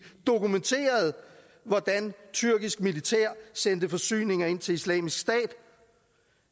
dokumenterede hvordan tyrkisk militær sendte forsyninger ind til islamisk stat